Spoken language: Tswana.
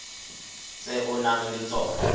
tse o nang le tsona